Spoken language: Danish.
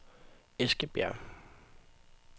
Eskebjerg